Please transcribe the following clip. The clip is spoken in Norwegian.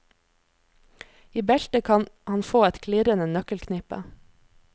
I beltet kan han få et klirrende nøkkelknippe.